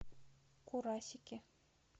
курасики